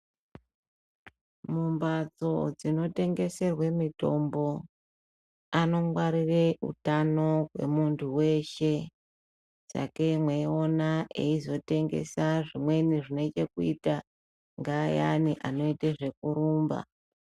Mumhatso dzinotengeserwe mutombo anongwarire utano hwemuntu weshe sagei mweiona eizotengesa zvimweni zvinenge kuita ngaayani anoite zvekurumba.